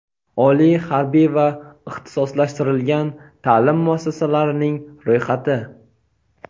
oliy harbiy va ixtisoslashtirilgan taʼlim muassasalarining ro‘yxati.